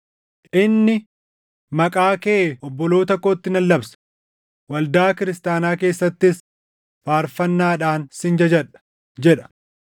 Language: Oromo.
Inni, “Maqaa kee obboloota kootti nan labsa; waldaa kiristaanaa keessattis faarfannaadhaan sin jajadha” + 2:12 \+xt Far 22:22\+xt* jedha.